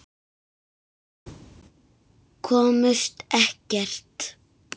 Komust ekkert.